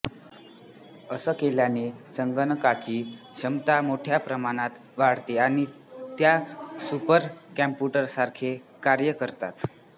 असे केल्याने संगणकाची क्षमता मोठ्या प्रमाणात वाढते आणि त्या सुपर कॉम्प्यूटर्ससारखे कार्य करतात